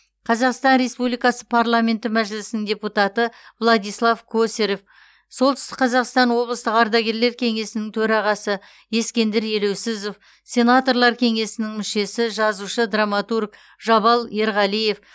қазақстан республикасы парламенті мәжілісінің депутаты владислав косарев солтүстік қазақстан облыстық ардагерлер кеңесінің төрағасы ескендір елеусізов сенаторлар кеңесінің мүшесі жазушы драматург жабал ерғалиев